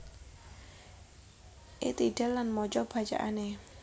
I tidal lan maca bacaane